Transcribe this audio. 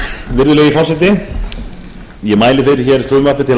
virðulegi forseti ég mæli fyrir hér frumvarpi til